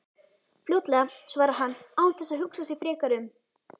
Fljótlega, svarar hann án þess að hugsa sig frekar um.